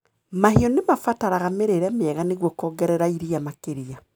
Mahiu nĩ mabataraga mĩrĩre mĩega nĩguo kuongerera iria makĩria.